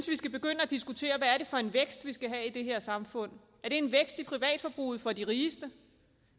vi skal begynde at diskutere hvad det er for en vækst vi skal have i det her samfund er det en vækst i privatforbruget for de rigeste